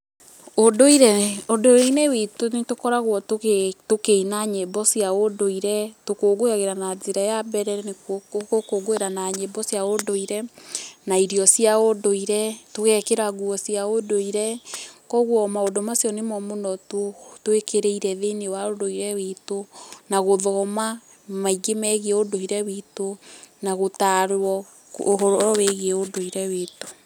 Ũnduire, ũndũire-inĩ witũ nĩ tũkoragwo tũkĩina nyĩmbo cia ũnduire, tũkũngũagĩra na njĩra ya mbere, nĩ gũkũngũĩra na nyĩmbo cia ũndũire, na irio cia ũndũire, tũgekĩra nguo cia ũndũire. Kogũo maũndũ macio nĩmo mũno twĩkĩrĩire thĩiníiĩ wa ũndũire witũ. Na gũthoma maingĩ megiĩ ũndũire witũ na gũtarwo ũhoro wĩgiĩ ũndũire witũ.